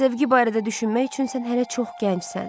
Sevgi barədə düşünmək üçün sən hələ çox gəncsən.